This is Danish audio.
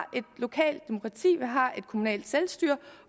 kommunalt selvstyre